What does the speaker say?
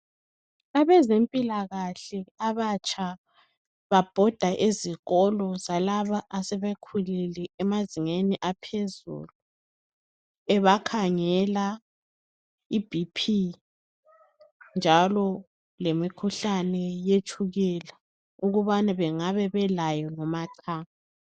Abezempilakahle abatsha babhoda ezikolo zalaba asebekhulile abezingeni lemfundo yaphezulu. Bebakhangela i BP njalo lemikhuhlane yetshukela ukubana bangabe belayo noma qha.